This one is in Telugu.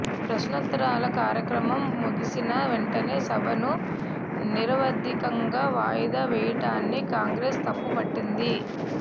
ప్రశ్నోత్తరాల కార్యక్రమం ముగిసిన వెంటనే సభను నిరవధికంగా వాయిదా వేయటాన్ని కాంగ్రెస్ తప్పుపట్టింది